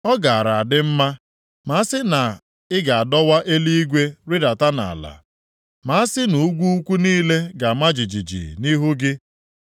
Ọ gaara adị mma ma asị na ị ga-adọwa eluigwe rịdata nʼala, ma asị nʼugwu ukwu niile ga-ama jijiji nʼihu gị!